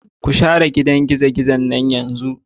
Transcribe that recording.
Ku share gidan gizo-gizon nan yanzu.